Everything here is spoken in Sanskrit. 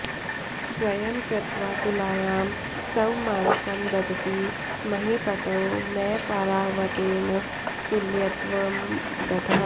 स्वयं कृत्त्वा तुलायां स्वमांसं ददति महीपतौ न पारावतेन तुल्यत्वं गतः